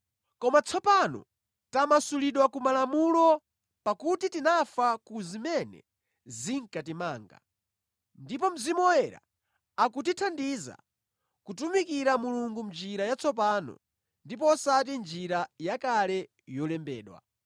Koma tsopano tamasulidwa ku Malamulowo pakuti tinafa ku zimene zinkatimanga, ndipo Mzimu Woyera akutithandiza kutumikira Mulungu mʼnjira yatsopano ndipo osati mʼnjira yakale yolembedwa.